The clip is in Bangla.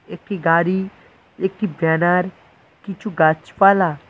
একটি গাড়ি একটি ব্যানার কিছু গাছপালা--